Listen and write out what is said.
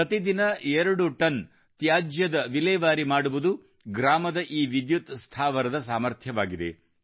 ಪ್ರತಿ ದಿನ ಎರಡು ಟನ್ ತ್ಯಾಜ್ಯದ ವಿಲೇವಾರಿ ಮಾಡುವುದು ಗ್ರಾಮದ ಈ ವಿದ್ಯುತ್ ಸ್ಥಾವರದ ಸಾಮರ್ಥ್ಯವಾಗಿದೆ